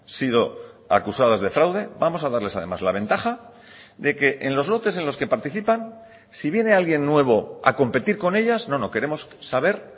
sido acusadas de fraude vamos a darles además la ventaja de que en los lotes en los que participan si viene alguien nuevo a competir con ellas no no queremos saber